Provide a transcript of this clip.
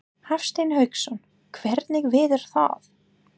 Hafsteinn Hauksson: Hvenær verður það?